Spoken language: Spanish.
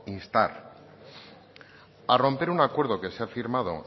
instar a romper un acuerdo que se ha firmado